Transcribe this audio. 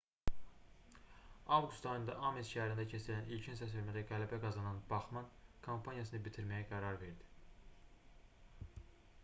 avqust ayında ames şəhərində keçirilən ilkin səsvermədə qələbə qazanan baxmann kampaniyasını bitirməyə qərar verdi